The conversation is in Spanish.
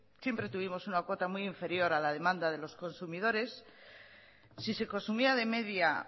siempre tuvimos una cuota muy inferior a la demanda de los consumidores si se consumía de media